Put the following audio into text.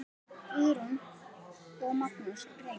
Guðrún og Magnús Reynir.